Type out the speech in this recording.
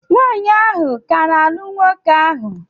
Nwanyị a ka n'alụ nwoke ahụ?